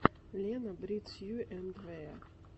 лена брит сью энд вэа